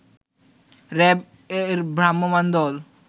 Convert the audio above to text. RAB এর ভ্রাম্যমান দল